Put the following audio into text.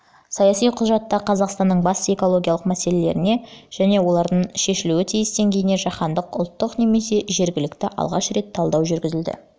саяси құжатта қазақстанның басты экологиялық мәселелеріне және олардың шешілуі тиіс деңгейіне жаһандық ұлттық немесе жергілікті алғаш рет талдау жүргізілді